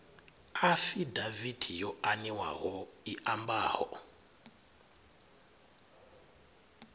afidaviti yo aniwaho i ambaho